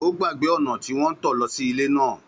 Ó gbàgbé ọ̀nà tí wọ́n ń lọ sí ilé náà.